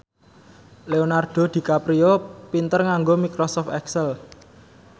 Leonardo DiCaprio pinter nganggo microsoft excel